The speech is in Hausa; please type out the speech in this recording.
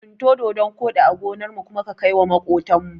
Tsinto dodon koɗi a gonarmu kuma ka kaiwa maƙotan mu.